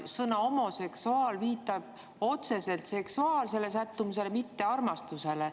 Sõna "homoseksuaal" viitab otseselt seksuaalsele sättumusele, mitte armastusele.